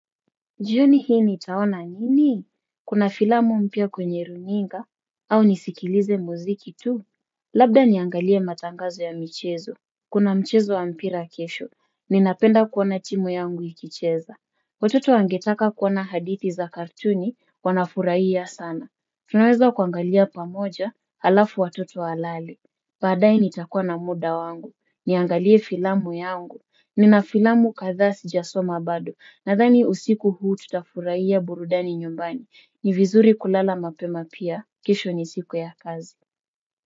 Jioni hii nitaona nini? Kuna filamu mpya kwenye runinga? Au nisikilize muziki tu? Labda niangalie matangazo ya michezo. Kuna mchezo wa mpira kesho. Ninapenda kuona timu yangu ikicheza. Watoto wangetaka kuona hadithi za kartuni wanafurahia sana. Tunaweza kuangalia pamoja halafu watoto walale. Baadae nitakuwa na muda wangu. Niangalie filamu yangu. Nina filamu kathaa sijasoma bado. Nathani usiku huu tutafuraia burudani nyumbani. Ni vizuri kulala mapema pia. Kesho ni siku ya kazi.